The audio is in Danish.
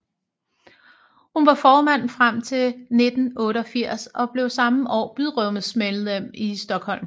Hun var formand frem til 1988 og blev samme år byrådsmedlem i Stockholm